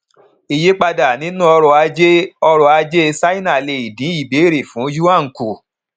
ìyípadà nínú ọrọ ajé ọrọ ajé ṣáínà lè dín ìbéèrè fún yuan kùn